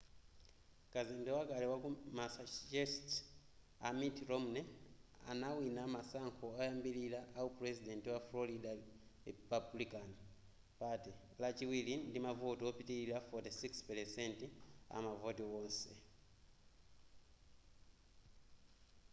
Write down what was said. kazembe wakale waku massachusetts a mitt romney anawina masankho oyambilira awu puresident wa florida republican party lachiwiri ndi mavoti opitilira 46 % amavoti onse